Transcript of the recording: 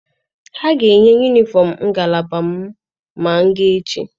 Ha ga-enye yunifọm ngalaba m ma m gaa echi.